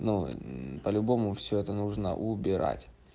ну по-любому всё это нужно убирать